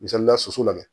Misalila soso la dɛ